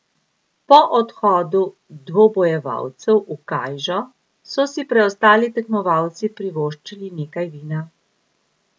Po odhodu dvobojevalcev v kajžo so si preostali tekmovalci privoščili nekaj vina.